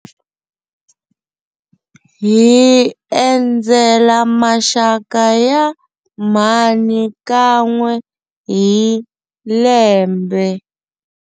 Hi endzela maxaka ya mhani kan'we hi lembe.